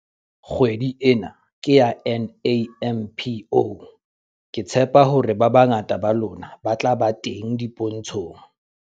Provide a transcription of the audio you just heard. Kgwedi ena ke ya NAMPO - Ke tshepa hore ba bangata ba lona ba tla ba teng dipontshong.